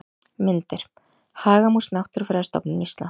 Myndir: Hagamús Náttúrufræðistofnun Íslands.